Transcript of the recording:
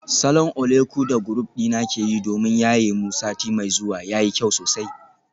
Salon oleku da group dina ke yi domin yaye mu sati mai zuwa yayi kyau sosai.